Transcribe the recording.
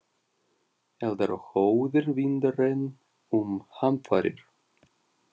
Eldar og óðir vindar- enn um hamfarir